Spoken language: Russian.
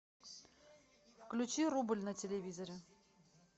включи рубль на телевизоре